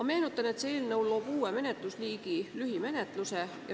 Ma meenutan, et see eelnõu loob uue menetlusliigi: lühimenetluse.